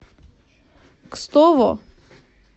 кстово